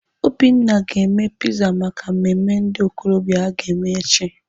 Obinna ga-eme piza maka mmemme ndị okorobịa aga eme echi.